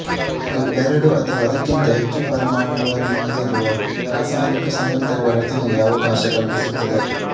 ಇದು ಎರಡು ಅಥವಾ ಅದಕ್ಕಿಂತ ಹೆಚ್ಚು ಪರಮಾಣುಗಳನ್ನು ಹೊಂದಿರುವ ರಾಸಾಯನಿಕ ಸಂಯುಕ್ತಗಳ ರಚನೆಗೆ ಅವಕಾಶ ಕಲ್ಪಿಸುತ್ತದೆ